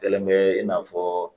Kɛlen bɛ i n'a fɔ